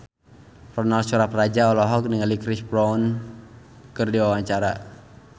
Ronal Surapradja olohok ningali Chris Brown keur diwawancara